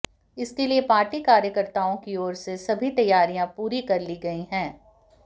इसके लिए पार्टी कार्यकर्ताओं की ओर से सभी तैयारियां पूरी कर ली गई हैं